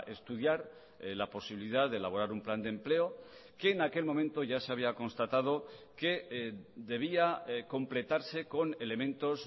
estudiar la posibilidad de elaborar un plan de empleo que en aquel momento ya se había constatado que debía completarse con elementos